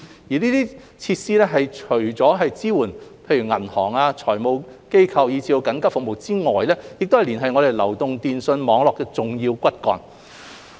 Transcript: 這些設施除了支援銀行、財務機構及緊急服務之外，亦是連繫我們流動電訊網絡的重要骨幹。